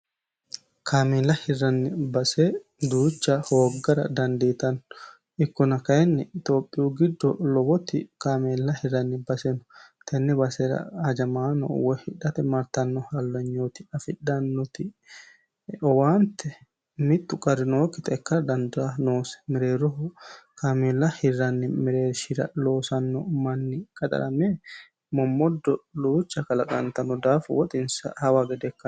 kaamela hirranni base duucha hooggara dandiitanno ikkona kayinni itophiyu giddo lowoti kaameella hirranni baseno tenni basera hajamaano woy hidhate martanno hallanyooti afidhannoti owaante mittu qarinookkixekkara dandaa noose mereeroho kaamela hirranni mereerishira loosanno manni qaxarame mommoddo duucha kalaqaantanno daafu woxinsa hawa gede ikkano